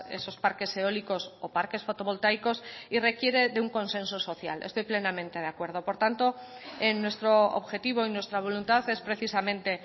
esos parques eólicos o parques fotovoltaicos y requiere de un consenso social estoy plenamente de acuerdo por tanto en nuestro objetivo y nuestra voluntad es precisamente